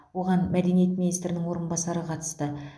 оған мәдениет министрінің орынбасары қатысты